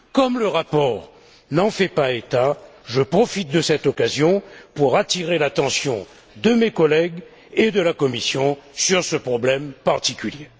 Comme le rapport n'en fait pas état, je profite de cette occasion pour attirer l'attention de mes collègues et de la Commission sur ce problème particulier.